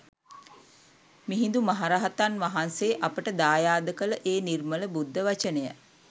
මිහිඳු මහරහතන් වහන්සේ අපට දායාද කළ ඒ නිර්මල බුද්ධ වචනය